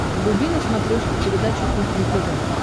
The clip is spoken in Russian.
вруби на смотрешке передачу кухня тв